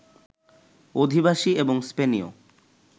অধিবাসী, এবং স্পেনীয়